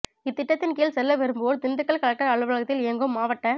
இத்திட்டத்தின் கீழ் செல்ல விரும்புவோர் திண்டுக்கல் கலெக்டர் அலுவலகத்தில் இயங்கும் மாவட்ட